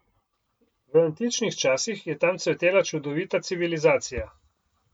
V antičnih časih je tam cvetela čudovita civilizacija.